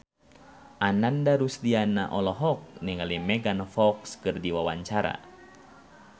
Ananda Rusdiana olohok ningali Megan Fox keur diwawancara